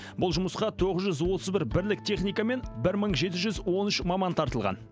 бұл жұмысқа тоғыз жүз отыз бір бірлік техника мен бір мың жеті жүз он үш маман тартылған